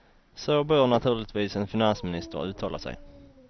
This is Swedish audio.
Så bör naturligtvis en finansminister uttala sig.